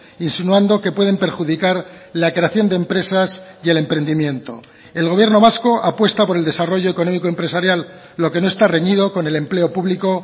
insinuando que pueden perjudicar la creación de empresas y el emprendimiento el gobierno vasco apuesta por el desarrollo económico empresarial lo que no está reñido con el empleo público